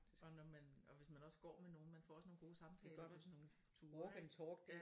Og når man og hvis man også går med nogle man får også nogle gode samtaler på sådan nogle ture ik